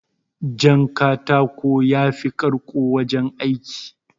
Jan katako yafi karko wajen aiki